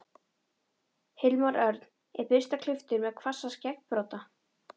Hilmar Örn er burstaklipptur með hvassa skeggbrodda.